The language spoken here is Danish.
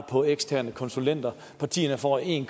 på eksterne konsulenter partierne får en